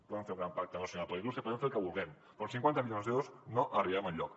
podem fer el gran pacte nacional per a la indústria podem fer el que vulguem però amb cinquanta milions d’euros no arribem enlloc